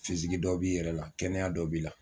dɔ b'i yɛrɛ la kɛnɛya dɔ b'i la.